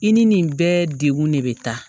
I ni nin bɛɛ dekun ne bɛ taa